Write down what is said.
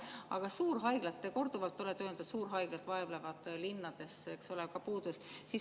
Aga suurhaiglad, nagu te korduvalt olete öelnud, vaevlevad linnades, eks ole, ka puuduses.